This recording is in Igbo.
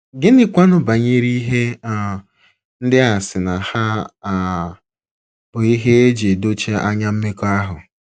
Gịnịkwanụ banyere ihe um ndị a sị na ha um bụ ihe e ji edochi anya mmekọahụ?